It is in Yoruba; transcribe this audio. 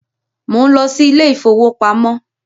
Mò ń lọ sí ilé ìfowópamọ́